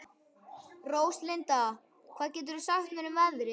Róslinda, hvað geturðu sagt mér um veðrið?